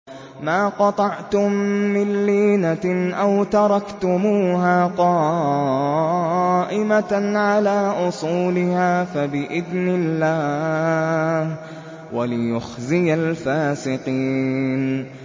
مَا قَطَعْتُم مِّن لِّينَةٍ أَوْ تَرَكْتُمُوهَا قَائِمَةً عَلَىٰ أُصُولِهَا فَبِإِذْنِ اللَّهِ وَلِيُخْزِيَ الْفَاسِقِينَ